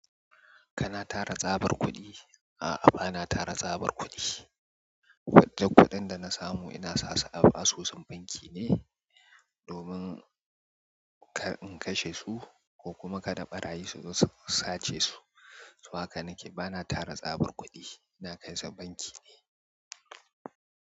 Kana tara tsabar kuɗi? A'a bana tara tsabar kuɗi. Kwadai kuɗin da na samu ina sa su a asusun banki ne domin ka in kashe su ko kuma ka da ɓarayi su sace su. To haka nake, bana tara tsabar kuɗi, ina kai su banki ne.